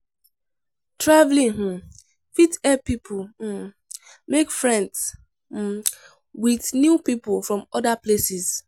Travelling um fit help pipo um make friends um with new pipo from other places